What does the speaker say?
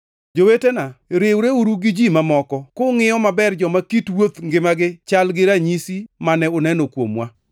Jowetena, riwreuru gi ji mamoko kungʼiyo maber joma kit wuodh ngimagi chal gi ranyisi mane uneno kuomwa.